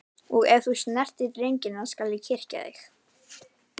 Og ef þú snertir drengina skal ég kyrkja þig.